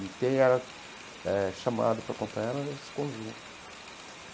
E quem era eh chamado para acompanhar era esse conjunto.